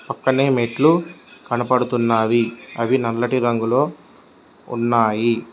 కొన్ని మెట్లు కనబడుతున్నాయి అవి నల్లటి రంగులో ఉన్నాయి.